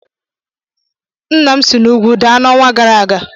Nna m si n'ugwu daa n'ọnwa gara aga